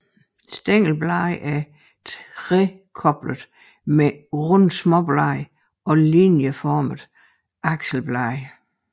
Stængelbladene er trekoblede med runde småblade og linieformede akselblade